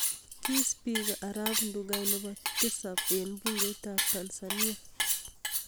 Kii spika arap Ndugai nebo tisap eng bungeit ab tanzania